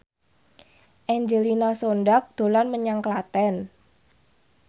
Angelina Sondakh dolan menyang Klaten